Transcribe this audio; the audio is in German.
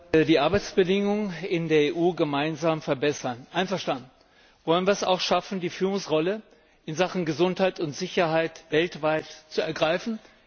Herr Präsident! Die Arbeitsbedingungen in der EU gemeinsam verbessern einverstanden! Wollen wir es auch schaffen, die Führungsrolle in Sachen Gesundheit und Sicherheit weltweit zu ergreifen?